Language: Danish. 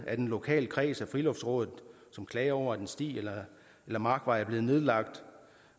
at en lokal kreds af friluftsrådet som klager over at en sti eller en markvej er blevet nedlagt